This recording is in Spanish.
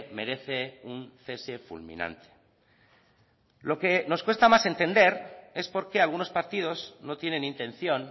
merece un cese fulminante lo que nos cuesta más entender es por qué algunos partidos no tienen intención